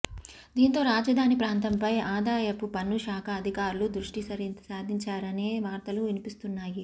దీంతో రాజధాని ప్రాంతంపై ఆదాయపు పన్నుశాఖ అధికారులు దృష్టిసారించారనే వార్తలు వినిపిస్తున్నాయి